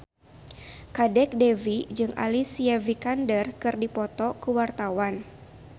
Kadek Devi jeung Alicia Vikander keur dipoto ku wartawan